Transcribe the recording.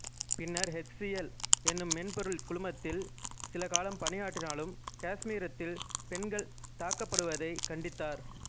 பின்னர் H C L என்னும் மென்பொருள் குழுமத்தில் சில காலம் பணி ஆற்றினாலும் காசுமீரத்தில் பெண்கள் தாக்கப்பட்டதைக் கண்டித்தார்